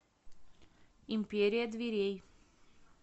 империя дверей